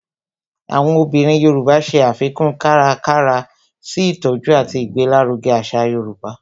Àwọn obìnrin Yoruba ṣe àfikún kárakára sí ìtọjú àti ìgbéláruge àṣà yorùbá